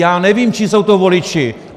Já nevím, čí jsou to voliči.